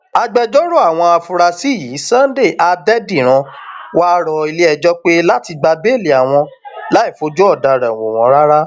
agbẹjọrò àwọn afurasí yìí sunday adẹdíran wàá rọ iléẹjọ pé láti gba béèlì wọn láì fojú ọdaràn wò wọn rárá